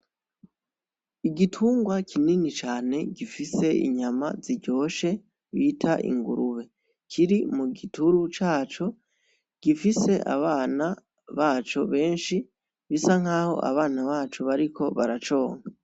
Igitungwa kinini cane gifise inyama ziryoshe bita ingurube kiri mugituru caco gifise abana baco benshi bisa nkaho abana baco bariko baraconka